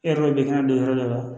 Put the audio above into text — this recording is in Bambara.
E yɛrɛ ka bin kɛnɛ don yɔrɔ dɔ la